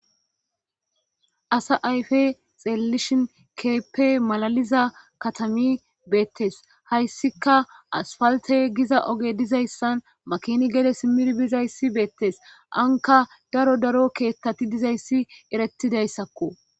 Asa ayfe xeelelishin keeppe malaliza katami beettes hayssika asfalte giza oge dizayssan makini gede simir bizayssi beettes anka daro daro keethtati dizayssi eretidayssakko.